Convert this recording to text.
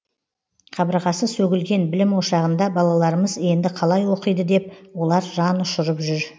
қабырғасы сөгілген білім ошағында балаларымыз енді қалай оқиды деп олар жан ұшырып жүр